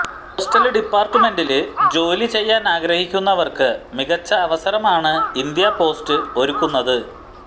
postal ഡിപാര്ട്ട്മെന്റില് ജോലി ചെയ്യാനാഗ്രഹിക്കുന്നവര്ക്ക് മികച്ച അവസരമാണ് ഇന്ത്യ പോസ്റ്റ് ഒരുക്കുന്നത്